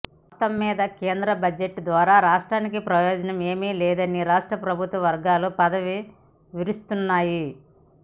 మొత్తం మీద కేంద్ర బడ్జెట్ ద్వా రా రాష్ట్రానికి ప్రయోజనం ఏమీ లేదని రాష్ట్ర ప్రభుత్వ వర్గాలు పెదవి విరుస్తున్నాయి